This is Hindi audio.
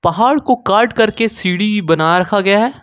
पहाड़ को काट करके सीढ़ी ही बना रखा गया है।